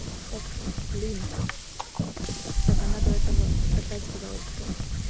так блин так она до этого опять сказала типа